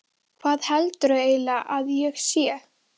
Hvað heldurðu eiginlega að ég sé?